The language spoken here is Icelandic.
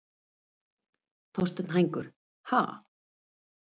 Þorsteinn Hængur: Ha?